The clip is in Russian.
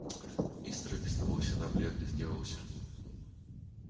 мистер и без того всегда бледный сделался